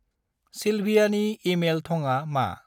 सिल्भियानि email थंआ मा।